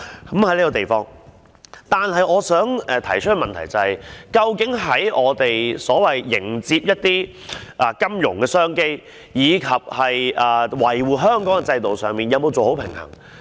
然而，我想提出一個問題，究竟我們在迎接金融的商機，以及維護香港的制度的同時，有否做好保持平衡的工作？